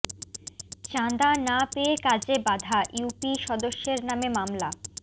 চাঁদা না পেয়ে কাজে বাধা ইউপি সদস্যের নামে মামলা